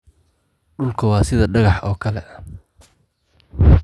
Dhulku waa sida dhagax oo kale.